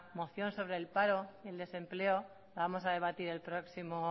moción sobre el paro y el desempleo la vamos a debatir el próximo